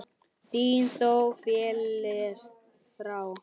Vinur þó féllir frá.